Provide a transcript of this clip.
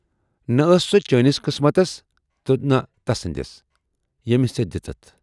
""نہَ ٲس سۅ چٲنِس قٕسمتَس تہٕ نہَ تسٕندِس، ییمِس ژے دِژٕتھ۔